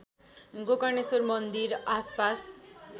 गोकर्णेश्वर मन्दिर आसपास